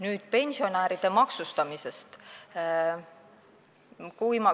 Nüüd pensionäride maksustamisest.